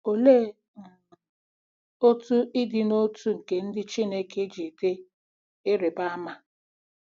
Olee um otú ịdị n’otu nke ndị Chineke ji dị ịrịba ama?